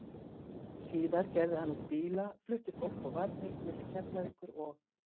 Síðar gerði hann út bíla, flutti fólk og varning milli Keflavíkur og